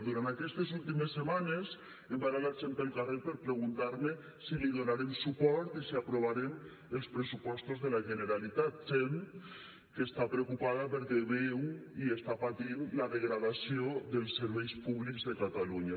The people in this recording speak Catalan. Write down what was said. durant aquestes últimes setmanes em para la gent pel carrer per preguntar me si li donarem suport i si aprovarem els pressupostos de la generalitat gent que està preocupada perquè veu i està patint la degradació dels serveis públics de catalunya